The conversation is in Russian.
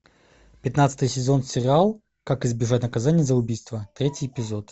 пятнадцатый сезон сериал как избежать наказания за убийство третий эпизод